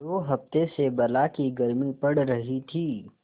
दो हफ्ते से बला की गर्मी पड़ रही थी